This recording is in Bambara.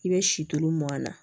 I bɛ sito mɔn na